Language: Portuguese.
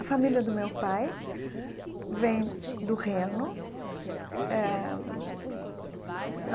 A família do meu pai vem do Reno eh.